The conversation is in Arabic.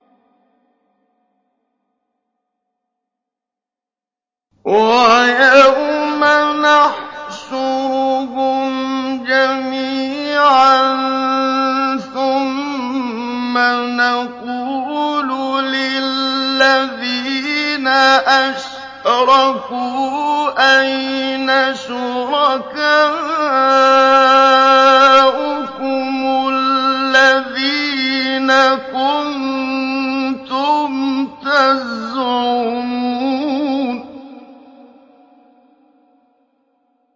وَيَوْمَ نَحْشُرُهُمْ جَمِيعًا ثُمَّ نَقُولُ لِلَّذِينَ أَشْرَكُوا أَيْنَ شُرَكَاؤُكُمُ الَّذِينَ كُنتُمْ تَزْعُمُونَ